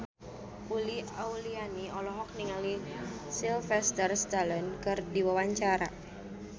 Uli Auliani olohok ningali Sylvester Stallone keur diwawancara